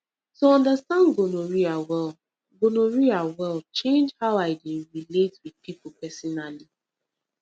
to understand gonorrhea well gonorrhea well change how i dey relate with people personally